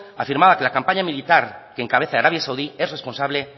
afirmaba que la campaña militar que encabeza arabia saudí es responsable